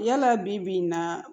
Yala bibi in na